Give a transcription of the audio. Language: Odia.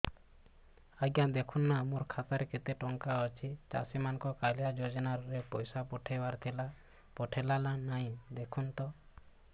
ଆଜ୍ଞା ଦେଖୁନ ନା ମୋର ଖାତାରେ କେତେ ଟଙ୍କା ଅଛି ଚାଷୀ ମାନଙ୍କୁ କାଳିଆ ଯୁଜୁନା ରେ ପଇସା ପଠେଇବାର ଥିଲା ପଠେଇଲା ନା ନାଇଁ ଦେଖୁନ ତ